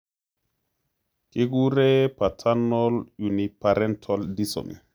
Kiguren paternal uniparental disomy